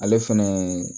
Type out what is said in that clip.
Ale fɛnɛ